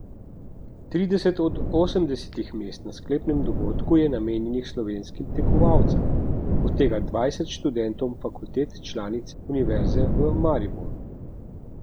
Trideset od osemdesetih mest na sklepnem dogodku je namenjenih slovenskim tekmovalcem, od tega dvajset študentom fakultet članic Univerze v Mariboru.